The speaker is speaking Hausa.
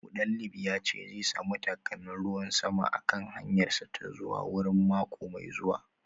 Mutalib ya ce zai samu takalmin ruwan sama a kan hanyarsa ta zuwa wurin mako mai zuwa